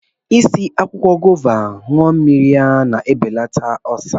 I si akwụkwọ gova anụ mmiri ya na-ebelata ọlsa